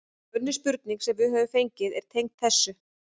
Önnur spurning sem við höfum fengið er tengd þessu: